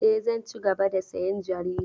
E, zan cigaba da sayan jarida.